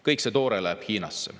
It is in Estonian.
Kõik see toore läheb Hiinasse.